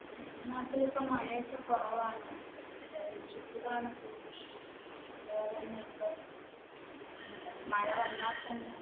എന്റെ നാട്ടിൽ ഇപ്പൊ മഴയൊക്കെ കുറവാണ് ചൂടാണ് കൂടുതലും അതുപോലെ തന്നെ ഇപ്പം മഴ വന്നാൽ തന്നെ